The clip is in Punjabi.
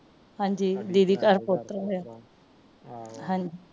ਹਾਂਜੀ ਦੀਦੀ ਘਰ ਪੋਤਰਾ ਹੋਇਆ ਹਾਂਜੀ